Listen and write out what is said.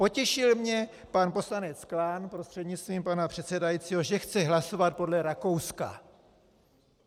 Potěšil mě pan poslanec Klán, prostřednictvím pana předsedajícího, že chce hlasovat podle Rakouska.